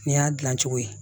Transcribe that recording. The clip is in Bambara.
Nin y'a dilan cogo ye